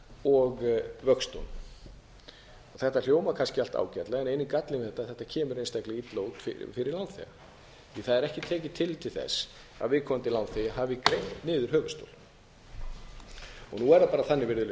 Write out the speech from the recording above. og vöxtunum þetta hljómar kannski allt ágætlega en eini gallinn við þetta er að þetta kemur einstaklega illa út fyrir lánþega því það er ekki tekið tillit til þess að viðkomandi lánþegi hafi greitt niður höfuðstól nú er það bara þannig virðulegi